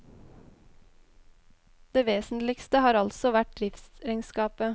Det vesentligste har altså vært driftsregnskapet.